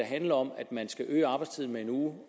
handler om at man skal øge arbejdstiden med en uge